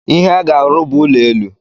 Ihe aga-arụ bụ ụlọ elu.